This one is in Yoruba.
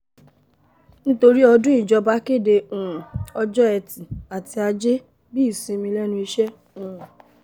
nítorí ọdún ìjọba kéde um ọjọ́ etí àti ajé bíi ìsinmi lẹ́nu iṣẹ́ um